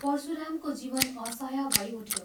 परशुरामको जीवन असह्य भई उठ्यो।